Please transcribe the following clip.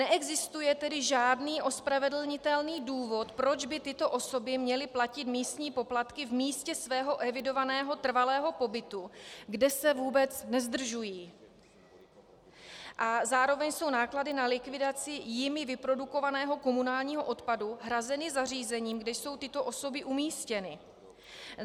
Neexistuje tedy žádný ospravedlnitelný důvod, proč by tyto osoby měly platit místní poplatky v místě svého evidovaného trvalého pobytu, kde se vůbec nezdržují, a zároveň jsou náklady na likvidaci jimi vyprodukovaného komunálního odpadu hrazeny zařízením, kde jsou tyto osoby umístěny.